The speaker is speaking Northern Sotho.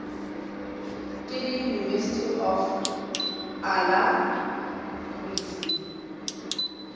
ke le university of alacrity